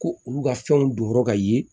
Ko olu ka fɛnw don yɔrɔ ka ye